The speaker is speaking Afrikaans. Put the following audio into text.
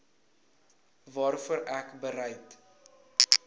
waarvoor ek bereid